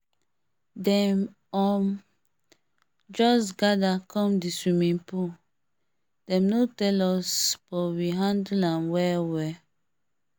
dem um just gather come the swimming pool dem no tell us but we handle am well well